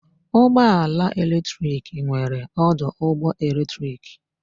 Ụgbọ ala eletrik nwere ọdụ ụgbọ eletrik.